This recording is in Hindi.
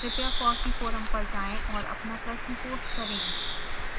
कृपया fossee फोरम पर जाएं और अपना प्रश्न पोस्ट करें